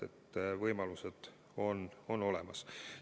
Võimalused on olemas.